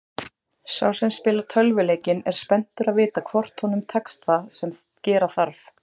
Sá sem spilar tölvuleikinn er spenntur að vita hvort honum tekst það sem gera þarf.